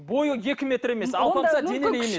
бойы екі метр емес алпамса денелі емес